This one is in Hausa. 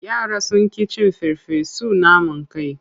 Yara sun ƙi cin farfesun naman kai.